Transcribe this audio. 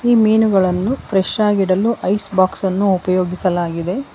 ಮೀನುಗಳನ್ನು ಫ್ರೆಶಾಗಿಡಲು ಐಸ್ ಬಾಕ್ಸನ್ನು ಉಪಯೋಗಿಸಲಾಗಿದೆ.